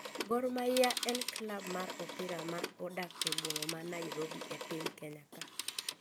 Gor mahia en klub mar opira ma odak e boma ma Nairobi e piny Kenya ka